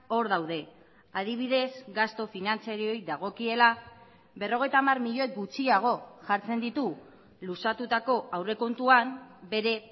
hor daude adibidez gastu finantzarioei dagokiela berrogeita hamar milioi gutxiago jartzen ditu luzatutako aurrekontuan bere